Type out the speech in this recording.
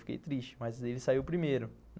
Fiquei triste, mas ele saiu primeiro.